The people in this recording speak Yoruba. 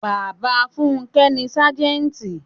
Bàbá funke ni Sájẹ́ntì.